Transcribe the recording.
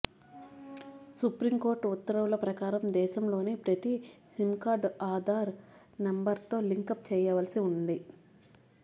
Supreme Court ఉత్తర్వుల ప్రకారం దేశంలోని ప్రతి సిమ్ కార్డ్ను ఆధార్ నెంబర్తో లింకప్ చేయవల్సి ఉంది